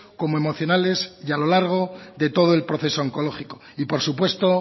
como emocionales y a lo largo de todo el proceso oncológico y por supuesto